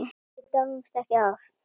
Við dáumst ekki að